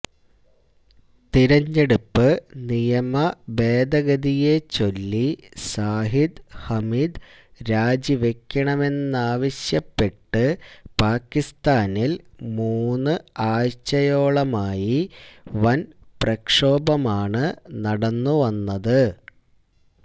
തെരഞ്ഞെടുപ്പ് നിയമഭേദഗതിയെ ചൊല്ലി സാഹിദ് ഹമീദ് രാജിവെക്കണമെന്നാവശ്യപ്പെട്ട് പാക്കിസ്ഥാനിൽ മൂന്ന് ആഴ്ചയോളമായി വന് പ്രക്ഷോഭമാണ് നടന്നുവന്നത്